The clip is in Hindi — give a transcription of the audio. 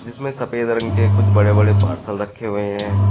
जिसमे सफेद रंग के कुछ बड़े-बड़े पार्सल रखे हुए हैं।